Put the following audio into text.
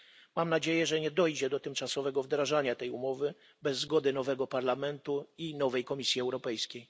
Mam nadzieję, że nie dojdzie do tymczasowego wdrażania tej umowy bez zgody nowego Parlamentu i nowej Komisji Europejskiej.